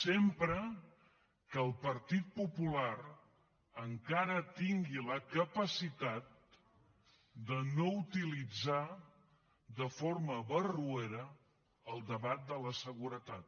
sempre que el partit popular encara tingui la capacitat de no utilitzar de forma barroera el debat de la seguretat